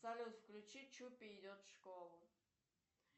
салют включи чупи идет в школу